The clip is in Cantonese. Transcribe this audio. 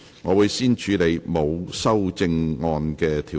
我會先處理沒有修正案的條文。